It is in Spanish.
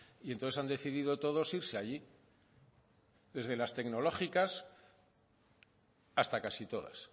y entonces han decidido todos irse allí desde las tecnológicas hasta casi todas